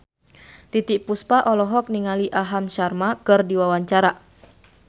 Titiek Puspa olohok ningali Aham Sharma keur diwawancara